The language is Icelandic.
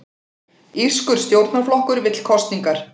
Írskur stjórnarflokkur vill kosningar